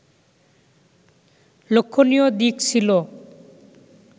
লক্ষণীয় দিক ছিল